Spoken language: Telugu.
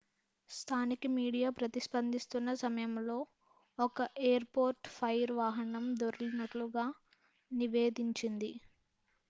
స్థానిక మీడియా ప్రతిస్పందిస్తున్నసమయంలో ఒక ఎయిర్ పోర్ట్ ఫైర్ వాహనం దొర్లినట్లు గా నివేదించింది